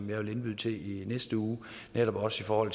vil jeg indbyde til i næste uge netop også for